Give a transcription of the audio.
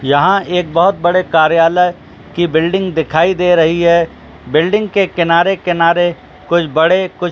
यहां एक बहुत बड़े कार्यालय की बिल्डिंग दिखाई दे रही है बिल्डिंग के किनारे-किनारे कोई बड़े --